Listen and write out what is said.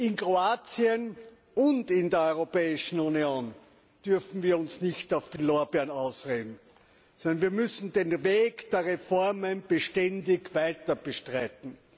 In Kroatien und in der Europäischen Union dürfen wir uns nicht auf den Lorbeeren ausruhen, sondern wir müssen den Weg der Reformen beständig weiter beschreiten.